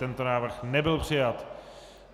Tento návrh nebyl přijat.